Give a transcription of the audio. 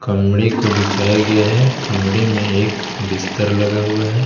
कमरे को दिखाया गया है कमरे में एक बिस्तर लगा हुआ है।